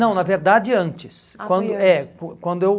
Não, na verdade, antes. Ah, foi antes. Quando, é, quan quando eu